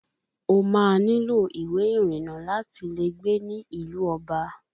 O máa nílò ìwé ìrìnnà láti lè gbé ní ìlú ọba